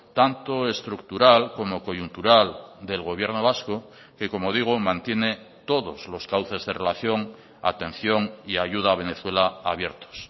tanto estructural como coyuntural del gobierno vasco que como digo mantiene todos los cauces de relación atención y ayuda a venezuela abiertos